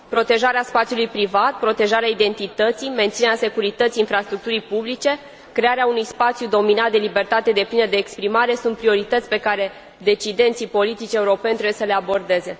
Protejarea spațiului privat, protejarea identității, menținerea securității infrastructurii publice, crearea unui spațiu dominat de libertate deplină de exprimare sunt priorități pe care decidenții politici europeni trebuie să le abordeze.